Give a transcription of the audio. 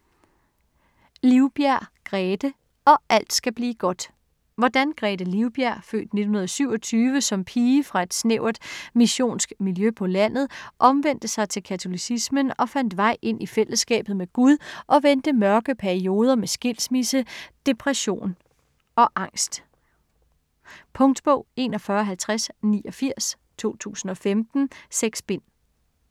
Livbjerg, Grethe: Og alt skal blive godt Hvordan Grethe Livbjerg (f. 1927) som pige fra et snævert missionsk miljø på landet, omvendte sig til katolicismen og fandt vej ind i fællesskabet med Gud, og vendte mørke perioder med skilsmisse, depression og angst. Punktbog 415089 2015. 6 bind.